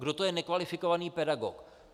Kdo to je nekvalifikovaný pedagog.